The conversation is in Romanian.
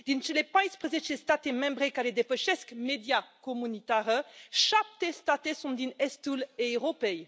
Din cele 14 state membre care depășesc media comunitară, 7 state sunt din estul Europei.